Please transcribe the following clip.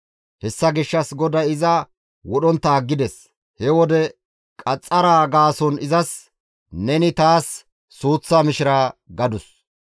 Hessa gishshas GODAY iza wodhontta aggides. He wode qaxxaraa gaason izas, «Neni taas suuththa mishira» gadus.